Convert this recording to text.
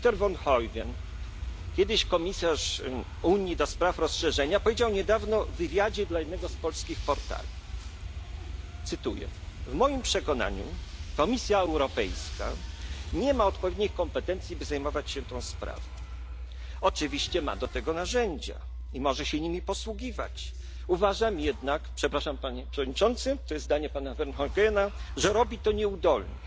Günter Verheugen, kiedyś komisarz Unii do spraw rozszerzenia, powiedział niedawno w wywiadzie dla jednego z polskich portali W moim przekonaniu Komisja Europejska nie ma odpowiednich kompetencji, by zajmować się tą sprawą. Oczywiście, że ma do tego narzędzia i może się nimi posługiwać. Uważam jednak, przepraszam, panie przewodniczący, to jest zdanie pana Verheugena, że robi to nieudolnie.